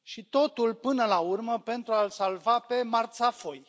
Totul, până la urmă, pentru a l salva pe marțafoi.